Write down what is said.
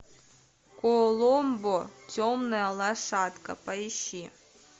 коломбо темная лошадка поищи